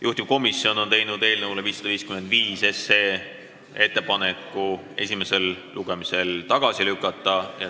Juhtivkomisjon on teinud ettepaneku eelnõu 555 esimesel lugemisel tagasi lükata.